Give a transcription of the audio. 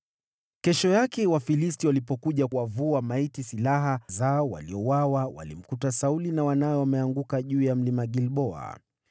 Kesho yake Wafilisti walipokuja kuwavua maiti silaha, walimkuta Sauli na wanawe wameanguka katika Mlima Gilboa.